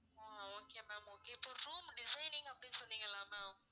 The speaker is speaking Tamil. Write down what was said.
ஓ okay ma'am okay இப்ப room designing அப்படின்னு சொன்னீங்கல்ல ma'am